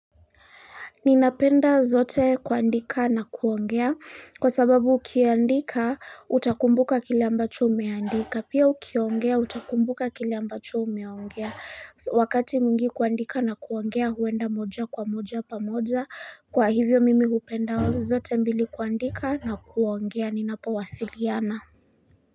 Ninapenda zote kuandika na kuongea kwa sababu ukiandika utakumbuka kili ambacho umeandika pia ukiongea utakumbuka kili ambacho umeongea wakati mingi kuandika na kuongea huenda moja kwa moja pa moja kwa hivyo mimi upenda zote mbili kuandika na kuongea ninapa wasiliana.